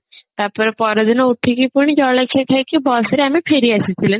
ତାପରେ ପରଦିନ ଉଠିକି ପୁଣି ଜଳଖିଆ ଖାଇକି bus ରେ ଆମେ ଫେରି ଆସିଥିଲେ